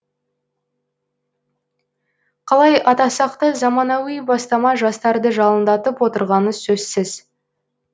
қалай атасақ та заманауи бастама жастарды жалындатып отырғаны сөзсіз